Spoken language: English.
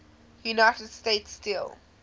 united states steel